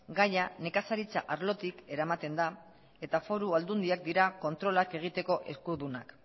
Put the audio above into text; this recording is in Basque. gaia nekazaritza arlotik eramaten da eta foru aldundiak dira kontrolak egiteko eskudunak